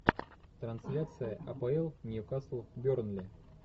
трансляция апл ньюкасл бернли